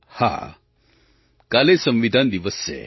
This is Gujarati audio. હા કાલે સંવિધાન દિવસ છે